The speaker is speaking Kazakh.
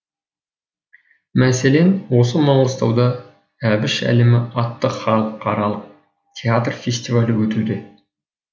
мәселен осы маңғыстауда әбіш әлемі атты халықаралық театр фестивалі өтуде